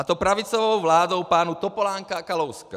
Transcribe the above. A to pravicovou vládou pánů Topolánka a Kalouska.